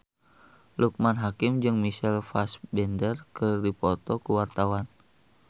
Loekman Hakim jeung Michael Fassbender keur dipoto ku wartawan